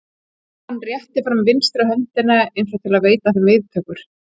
Og hann rétti fram vinstri höndina eins og til að veita þeim viðtöku.